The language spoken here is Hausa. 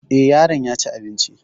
Eh, yaron yaci abinci